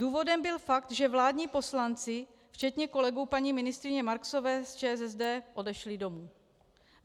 Důvodem byl fakt, že vládní poslanci včetně kolegů paní ministryně Marksové z ČSSD odešli domů.